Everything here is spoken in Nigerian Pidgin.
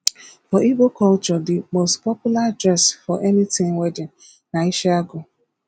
for igbo culture the most popular dress for anything wedding na isiagu